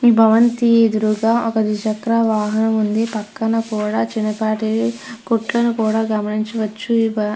ఈ భవంతి ఎదురుగా ఒక ద్విచక్ర వాహనం ఉంది పక్కన కూడ చిన్నపాటి కొట్లను కూడా గమనించవచ్చు --